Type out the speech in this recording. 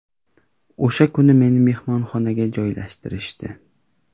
O‘sha kuni meni mehmonxonaga joylashtirishdi.